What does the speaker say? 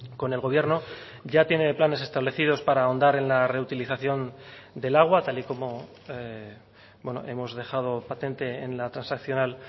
con el gobierno ya tiene planes establecidos para ahondar en la reutilización del agua tal y como hemos dejado patente en la transaccional